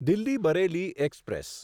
Delhi Bareilly express